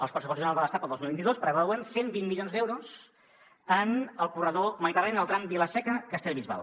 els pressupostos generals de l’estat per al dos mil vint dos preveuen cent i vint milions d’euros en el corredor mediterrani en el tram vila seca castellbisbal